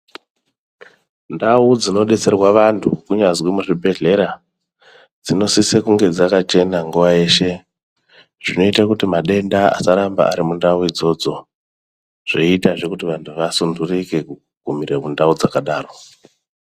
Ndau dzinodetserwa vantu, kunyazi muzvibhedhlera, dzinosise kunge dzakachena nguwa yeshe. Zvinoita kuti madenda asaramba ari mundau idzodzo, zveiitazve kuti vantu vasunturuke kugumire kundau dzakadaro .